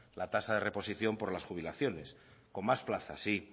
la tasa de reposición por las jubilaciones con más plazas sí